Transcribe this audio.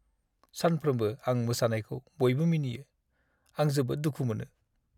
सानफ्रोमबो आं मोसानायखौ बयबो मिनियो। आं जोबोद दुखु मोनो।